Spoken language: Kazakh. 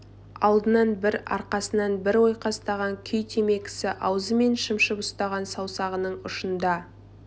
алдынан бір арқасынан бір ойқастаған күй темекісі аузы мен шымшып ұстаған саусағының ұшында